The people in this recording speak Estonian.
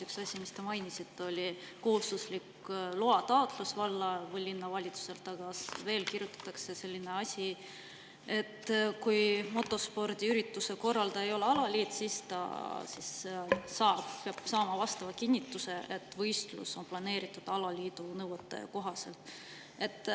Üks asi, mis te mainisite, oli kohustuslik loataotlus valla- või linnavalitsusele, aga veel on kirjas, et kui motospordiürituse korraldaja ei ole alaliit, siis ta peab saama kinnituse, et võistlus on planeeritud alaliidu nõuete kohaselt.